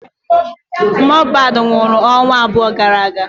Mohbad nwụrụ ọnwa abụọ gara aga.